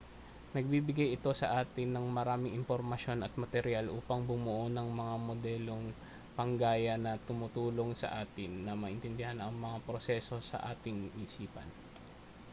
nagbibigay ito sa atin ng maraming impormasyon at materyal upang bumuo ng mga modelong panggaya na tumutulong sa atin na maintindihan ang mga proseso sa ating isipan